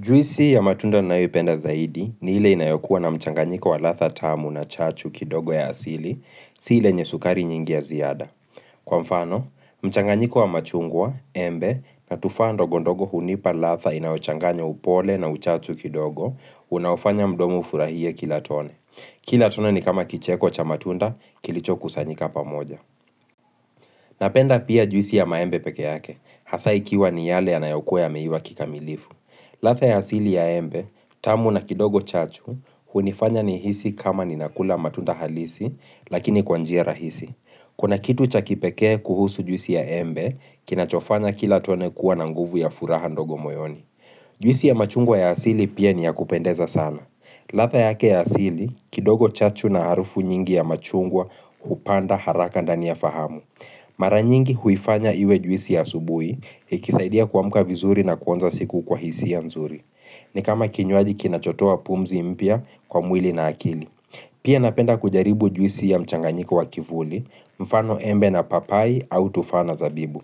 Juisi ya matunda ninayoipenda zaidi ni ile inayokua na mchanganyiko wa ladha tamu na chachu kidogo ya asili, si ile yenye sukari nyingi ya ziada. Kwa mfano, mchanganyiko wa machungwa, embe, na tufaha ndogondogo hunipa ladha inayochanganya upole na uchachu kidogo, unaufanya mdomu ufurahie kila tone. Kila tone ni kama kicheko cha matunda, kilichokusanyika pamoja. Napenda pia juisi ya maembe peke yake, hasa ikiwa ni yale yanayokua yameiva kikamilifu. Ladha ya asili ya embe, tamu na kidogo chachu, hunifanya nihisi kama ninakula matunda halisi, lakini kwa njia rahisi. Kuna kitu cha kipekee kuhusu juisi ya embe, kinachofanya kila tone kuwa na nguvu ya furaha ndogo moyoni. Juisi ya machungwa ya asili pia ni ya kupendeza sana. Latha yake ya asili, kidogo chachu na harufu nyingi ya machungwa, hupanda haraka ndani ya fahamu. Mara nyingi huifanya iwe juisi ya asubui ikisaidia kuamka vizuri na kuanza siku kwa hisi ya nzuri ni kama kinywaji kinachotoa pumzi mpya kwa mwili na akili Pia napenda kujaribu juisi ya mchanganyiko wa kivuli mfano embe na papai au tufaa na zabibu